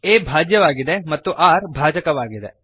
a ಭಾಜ್ಯವಾಗಿದೆ ಮತ್ತು r ಭಾಜಕವಾಗಿದೆ